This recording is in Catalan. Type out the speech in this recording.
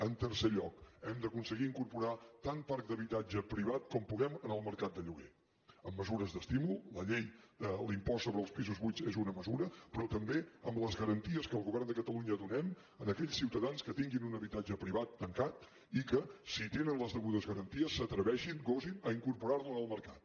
en tercer lloc hem d’aconseguir incorporar tant parc d’habitatge privat com puguem en el mercat de lloguer amb mesures d’estímul la llei de l’impost sobre els pisos buits és una mesura però també amb les garanties que el govern de catalunya donem a aquells ciutadans que tinguin un habitatge privat tancat i que si tenen les degudes garanties s’atreveixin gosin incorporar lo en el mercat